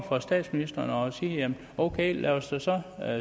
for statsministeren at sige ok lad os da så